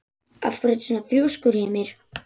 Af hverju ertu svona þrjóskur, Hymir?